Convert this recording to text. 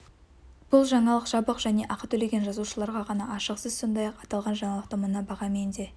бұл жаңалық жабық және ақы төлеген жазылушыларға ғана ашық сіз сондай-ақ аталған жаңалықты мына бағамен де